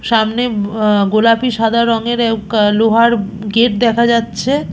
সামনে বয়া গোলাপি সাদা রঙের আব অ্যা লোহার গেট দেখা যাচ্ছে।